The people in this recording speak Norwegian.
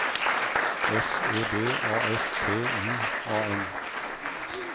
S E B A S T I A N